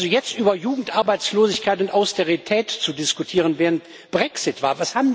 Jetzt über Jugendarbeitslosigkeit und Austerität zu diskutieren, während Brexit